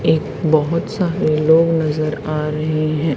एक बहुत सारे लोग नजर आ रहे हैं।